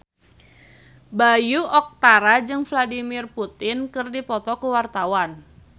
Bayu Octara jeung Vladimir Putin keur dipoto ku wartawan